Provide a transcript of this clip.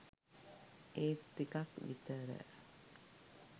ඒත් ටිකක් විතර